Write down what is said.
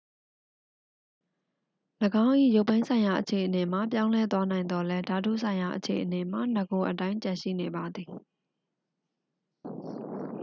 ၎င်း၏ ရုပ်ပိုင်းဆိုင်ရာအခြေအနေမှာ ပြောင်းလဲသွားနိုင်သော်လည်း ဓာတုဆိုင်ရာအခြေအနေမှာ နဂိုအတိုင်း ကျန်ရှိနေပါသည်